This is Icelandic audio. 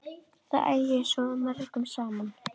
Það ægir svo mörgu saman.